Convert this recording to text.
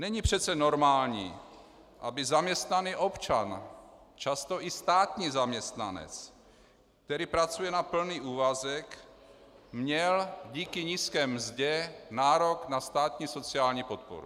Není přece normální, aby zaměstnaný občan, často i státní zaměstnanec, který pracuje na plný úvazek, měl díky nízké mzdě nárok na státní sociální podporu.